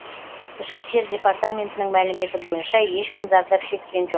ішкі істер департаментінің мәліметі бойынша ешкім зардап шеккен жоқ